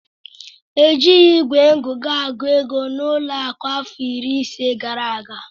E jighị igwe ngụkọ agụ ego n'ụlọ akụ afọ iri ise gara aga.